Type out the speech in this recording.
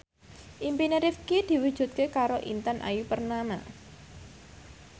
impine Rifqi diwujudke karo Intan Ayu Purnama